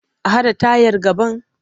A haɗa tayar gaban?